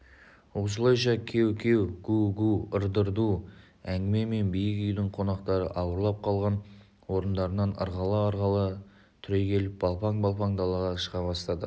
осылайша кеу-кеу гу-гу ырду-дырду әңгімемен биік үйдің қонақтары ауырлап қалған орындарынан ырғала-ырғала түрегеліп балпаң-балпаң далаға шыға бастады